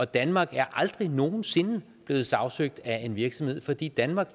danmark er aldrig nogen sinde blevet sagsøgt af en virksomhed fordi danmark